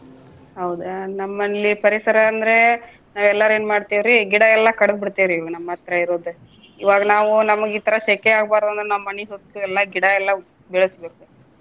ಹೌದಾ ನಮ್ಮಲ್ಲಿ ಪರಿಸರ ಅಂದ್ರೆ ಎಲ್ಲಾರು ಏನ್ ಮಾಡ್ತೇವ್ರಿ ಗಿಡಾ ಎಲ್ಲಾ ಕಡ್ದ್ ಬಿಡ್ತೇವ್ರಿ ಇವ ನಮ್ಮ ಹತ್ರ ಇರೋದ. ಇವಾಗ್ ನಾವು ನಮಗ್ ಇತರಾ ಸೆಕೆ ಆಗಬಾರ್ದಂದ್ರ ನಮ್ಮ ಮನಿ ಸುತ್ಲು ಎಲ್ಲಾ ಗಿಡ ಎಲ್ಲ ಬೆಳೆಸ್ಬೇಕು.